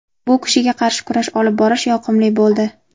Bu kishiga qarshi kurash olib borish yoqimli bo‘ldi.